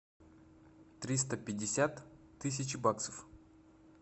триста пятьдесят тысяч баксов